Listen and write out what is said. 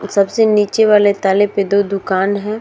सबसे नीचे वाले ताले पे दो दुकान हैं।